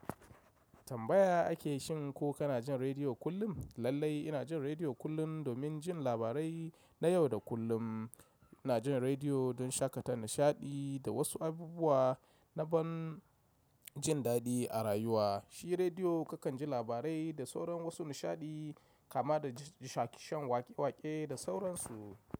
Tambaya ake shin, ko kana jin rediyo kullum? Lallai ina jin rediyo kullum domin jin labarai na yau da kullum. Ina jin rediyo don shaƙatar nishaɗi da wasu abubuwa na ban jin daɗi a rayuwa. Shi rediyo kakan ji labarai da sauran wasu nishaɗi kama da shakishan waƙe-waƙe da sauransu.